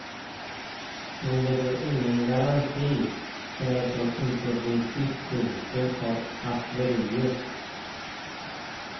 Men det är ingen garanti för att man inte blir beskjuten av artilleriet.